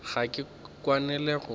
ga ke kwane le gore